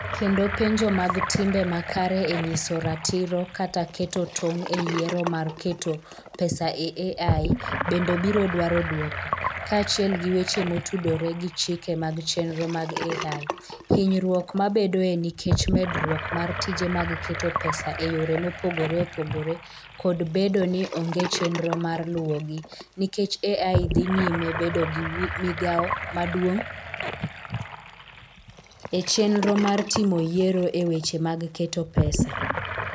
Kendo penjo mag timbe makare e nyiso ratiro kata keto tong' e yiero mar keto pesa e AI bende biro dwaro dwoko, kaachiel gi weche motudore gi chike mag chenro mag AI, hinyruok mabedoe nikech medruok mar tije mag keto pesa e yore mopogore opogore, kod bedo ni onge chenro mar luwogi, nikech AI dhi nyime bedo gi migawo maduong' e chenro mar timo yiero e weche mag keto pesa.